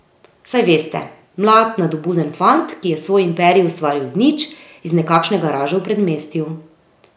Saj veste, mlad nadobuden fant, ki je svoj imperij ustvaril iz nič, iz nekakšne garaže v predmestju.